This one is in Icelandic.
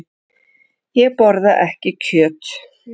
Ég borða ekki kjöt.